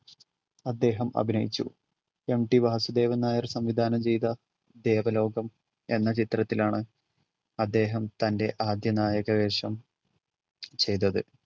അദ്ദേഹം അഭിനയിച്ചു. MT വാസുദേവൻ നായർ സംവിധാനം ചെയ്‌ത ദേവലോകം എന്ന ചിത്രത്തിലാണ് അദ്ദേഹം തൻ്റെ ആദ്യ നായക വേഷം ചെയ്‌തത്‌.